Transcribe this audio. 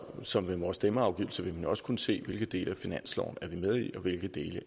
så med vores stemmeafgivelse vil man også kunne se hvilke dele af finansloven er med i og hvilke dele